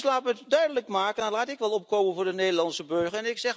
Laat ik het dus duidelijk maken, en laat ik dan opkomen voor de Nederlandse burger.